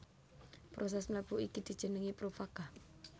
Prosès mlebu iki dijenengi profaga